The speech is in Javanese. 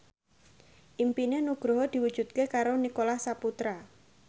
impine Nugroho diwujudke karo Nicholas Saputra